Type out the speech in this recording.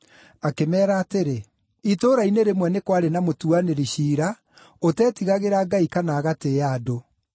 Akĩmeera atĩrĩ: “Itũũra-inĩ rĩmwe nĩ kwarĩ na mũtuanĩri ciira ũteetigagĩra Ngai kana agatĩĩa andũ.